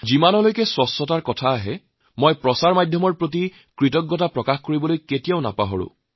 যেতিয়াই স্বচ্ছতাৰ কথা কোৱা যায় তেতিয়াই মই কিন্তু প্ৰচাৰ মাধ্যমৰ লোকসকলৰ প্ৰতি মোৰ কৃতজ্ঞতা প্ৰকাশ কৰিবলৈ কেতিয়াও পাহৰা নাই